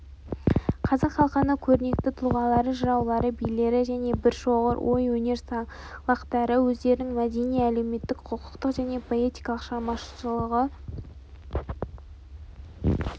қазақ халқының көрнекті тұлғалары жыраулары билері және біршоғыр ой-өнер саңлақтары өздерінің мәдени әлеуметтік құқықтық және поэтикалық шығармашылығы